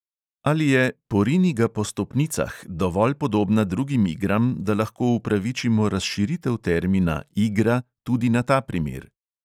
Ali je "porini-ga-po-stopnicah" dovolj podobna drugim igram, da lahko upravičimo razširitev termina "igra" tudi na ta primer?